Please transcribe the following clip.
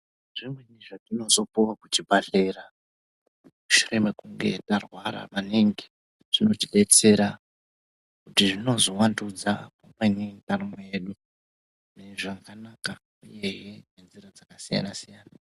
Zvimweni zvatinozopuwa kuchibhadhlera zvine makunge tarwara maningi zvinotidetsera kuti zvinozowandudza maningi ndaramo yedu zvakanaka uye ngenzira dzakasiyana siyana.